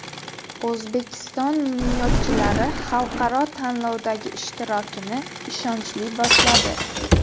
O‘zbekiston minomyotchilari xalqaro tanlovdagi ishtirokini ishonchli boshladi .